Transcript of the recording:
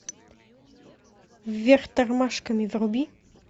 вверх тормашками вруби